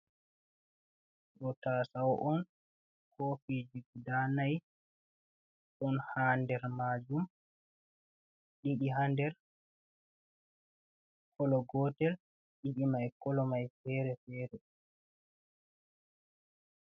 Ɗo tasau on. Kofiji guɗa nai. Ɗon ha nɗer majum. Ɗiɗi ha ɗer kolo gotel. Ɗidi mai kolomai fere fere.